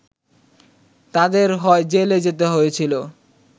তাঁদের হয় জেলে যেতে হয়েছিল